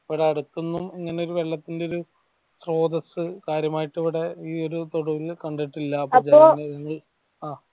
ഇവിടെ അടുത്തതൊന്നും ഇങ്ങനൊരു വെള്ളത്തിന്റെ സ്രോതസ് കാര്യമായിട് ഇവിടെ ഈ ഒരു തൊടുവിൽ കണ്ടിട്ടില്ല അപ്പൊ ജനങ്ങൾ ഞങ്ങൾ ആഹ്